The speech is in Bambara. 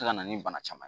se ka na ni bana caman ye